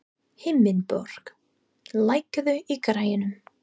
Himinbjörg, lækkaðu í græjunum.